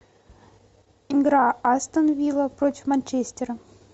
игра астон вилла против манчестера